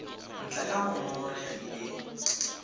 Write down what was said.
ntle ga fa mongongoregi e